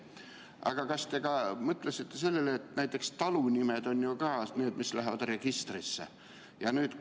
Aga kas te mõtlesite sellele, et näiteks talunimed on ka need, mis lähevad registrisse?